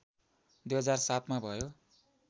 २००७ मा भयो